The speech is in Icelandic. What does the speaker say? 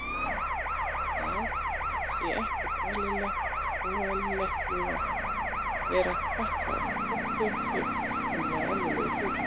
Það sé ekkert óeðlilegt við að vera fatlaður, fötlun sé fullkomlega eðlilegur hlutur.